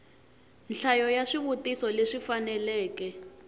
nhlayo ya swivutiso leswi faneleke